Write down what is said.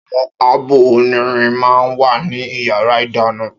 Áwòn ábò ónìrín mà n wá ni iyàrá idàná